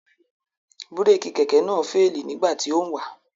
Búrékì Kẹ̀kẹ́ náà féèlì nígbà tí ó ń wà